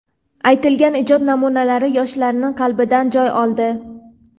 aytilgan ijod namunalari yoshlarning qalbidan joy oldi.